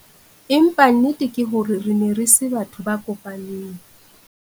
Empa nnete ke hore re ne re se batho ba kopaneng.